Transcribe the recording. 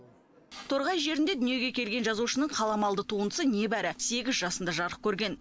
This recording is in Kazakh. торғай жерінде дүниеге келген жазушының қаламалды туындысы небәрі сегіз жасында жарық көрген